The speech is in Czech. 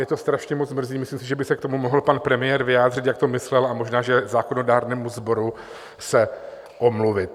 Mě to strašně moc mrzí - myslím si, že by se k tomu mohl pan premiér vyjádřit, jak to myslel, a možná že zákonodárnému sboru se omluvit.